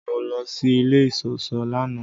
Mọ lọ sí ilẹ̀ iṣọṣọ lánà.